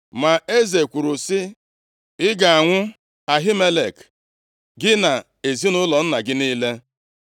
Ma eze kwuru sị, “Ị ga-anwụ. Ahimelek gị na ezinaụlọ nna gị niile!”